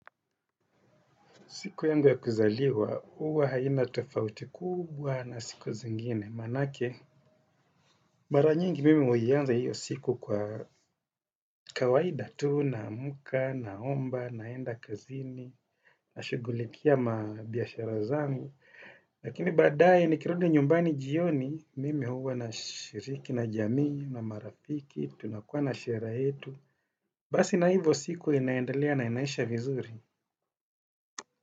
Siku yangu ya kuzaliwa, huwa haina tofauti kubwa na siku zingine, manake. Mara nyingi mimi huianza hiyo siku kwa kawaida tu, namka, naomba, naenda kazini, na shugulikia mabiashara zangu. Lakini badaye nikirudi nyumbani jioni, mimi huwa na shiriki, na jamii, na marafiki, tunakuwa na sherehe yetu. Basi na hivo siku inaendelea na inaisha vizuri.